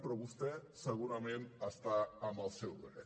però vostè segurament està en el seu dret